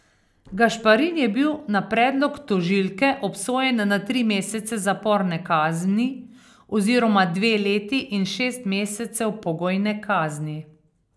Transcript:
Gašparin je bil na predlog tožilke obsojen na tri mesece zaporne kazni oziroma dve leti in šest mesecev pogojne kazni.